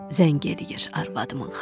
Zəng eləyir arvadımın xalası.